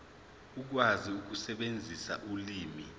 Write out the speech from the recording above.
ukwazi ukusebenzisa ulimi